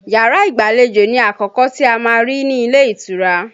Yàrá ìgbàlejò ni àkọ́kọ́ tí a má ń rí ní ilé ìtura